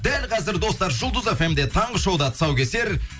дәл қазір достар жұлдыз фмде таңғы шоуда тұсаукесер